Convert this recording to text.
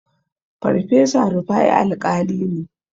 Farfesa Rufa'i Alƙali ne.